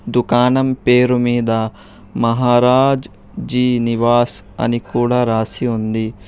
దుకాణం పేరుమీద మహారాజ్ జి నివాస్ అని కూడా రాసి ఉంది.